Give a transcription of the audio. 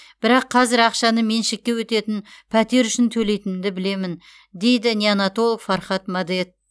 бірақ қазір ақшаны меншікке өтетін пәтер үшін төлейтінімді білемін дейді неонатолог фархат мадет